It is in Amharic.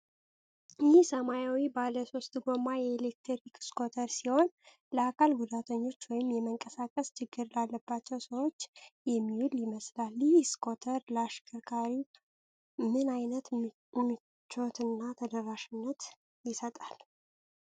ይህ ሰማያዊ ባለሶስት ጎማ የኤሌክትሪክ ስኩተር ሲሆን ለአካል ጉዳተኞች ወይም የመንቀሳቀስ ችግር ላለባቸው ሰዎች የሚውል ይመስላል። ይህ ስኩተር ለአሽከርካሪው ምን ዓይነት ምቾትና ተደራሽነት ይሰጣል?